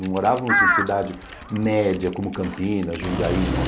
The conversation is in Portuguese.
Não morávamos em cidade média, como Campinas, Jundiaí, não.